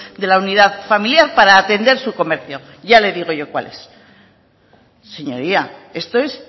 de la unidad familiar para atender su comercio ya le digo yo cuál es señoría esto es